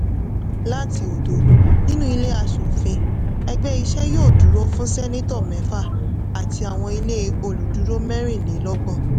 láti òdo nínú ilé aṣòfin ẹgbẹ́ iṣẹ́ yóò dúró fún sénátọ̀ mẹ́fà àti àwọn ilé olùdùró mẹ́rìnlélọ́gbọ̀n.